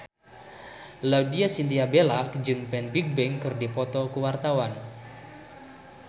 Laudya Chintya Bella jeung Fan Bingbing keur dipoto ku wartawan